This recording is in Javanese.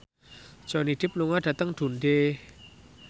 Johnny Depp lunga dhateng Dundee